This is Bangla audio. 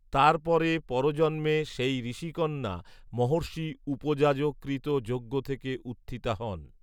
তার পরে পরজন্মে সেই ঋষিকন্যা মহর্ষি উপযাজ কৃত যজ্ঞথেকে উত্থিতা হন